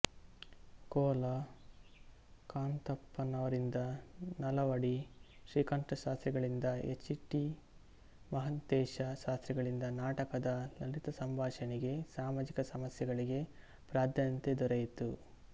ಕೋಲ ಕಾಂತಪ್ಪನವರಿಂದ ನಲವಡಿ ಶ್ರೀಕಂಠಶಾಸ್ತ್ರಿಗಳಿಂದ H T Mahantesh ಶಾಸ್ತ್ರಿಗಳಿಂದ ನಾಟಕದ ಲಲಿತ ಸಂಭಾಷಣೆಗೆ ಸಾಮಾಜಿಕ ಸಮಸ್ಯೆಗಳಿಗೆ ಪ್ರಾಧಾನ್ಯತೆ ದೊರೆಯಿತು